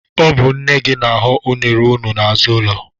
Ọ bụ nne gị na-aghọ unere unu n'azụ ụlọ.